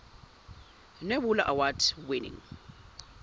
nebula award winning